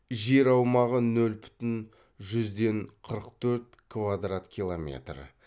жер аумағы нөл бүтін жүзден қырық төрт квадрат километр